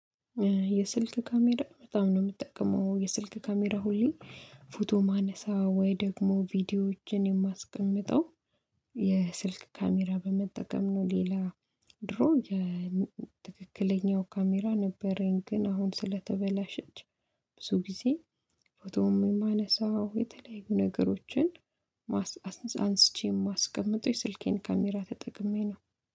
የስልክ ካሜራ በጣም ነው የምትጠቀመው የስልክ ካሜራ ሁሌ ፎቶ ማነሳ ወይ ደግሞ ቪዲዮዎችን የማስቀምጠው የስልክ ካሜራ በመጠቀም ነው። ሌላ። ድሮ የትክክለኛው ካሜራ ነበረኝ ግን አሁን ስለተበላሸች ብዙ ጊዜ ፎቶም የማነሳው የተለያዩ ነገሮችን። አንስቼ የማስቀምጠው ስልኬን ካሜራ ተጠቅሜ ነው